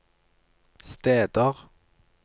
steder